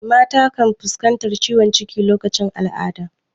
Mata kan fuskantar ciwon ciki lokacin al'ada.